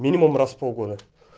минимум раз в полгода